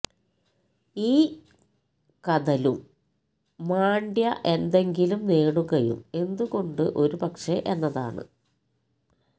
ഈ കഥ ലും മാണ്ഡ്യ എന്തെങ്കിലും നേടുകയും എന്തുകൊണ്ട് ഒരുപക്ഷേ എന്നതാണ്